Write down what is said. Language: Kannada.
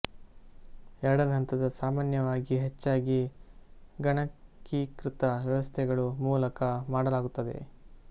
ಎರಡನೇ ಹಂತದ ಸಾಮಾನ್ಯವಾಗಿ ಹೆಚ್ಚಾಗಿ ಗಣಕೀಕೃತ ವ್ಯವಸ್ಥೆಗಳು ಮೂಲಕ ಮಾಡಲಾಗುತ್ತದೆ